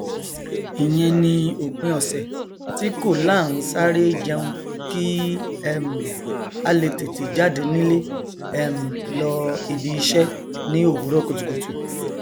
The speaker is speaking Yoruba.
ìyen ni òpin ọsẹ tí kò láaansáré jẹun kí um a le tètè jáde nílé um lọ ibiṣẹ ni owurọ kùtùkùtù